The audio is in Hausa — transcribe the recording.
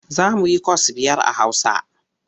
Za mu yikwas biyar a Hausa.